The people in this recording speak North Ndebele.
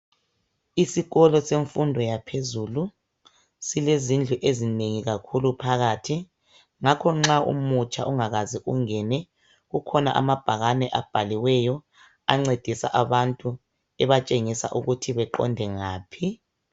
Isikolo semfundo yaphezulu, silezindlu ezinengi kakhulu phakathi. Ngakho nxa umutsha ungakaze ungene kukhona amabhakane abhaliweyo ancedisa abantu ebatshengisa ukuthi beqonde ngaphi.